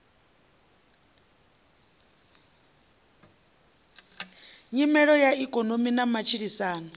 nyimele ya ikonomi na matshilisano